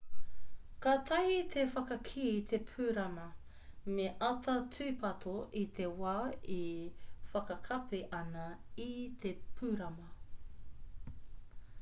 kātahi me whakakī te pūrama me āta tūpato i te wā e whakakapi ana i te pūrama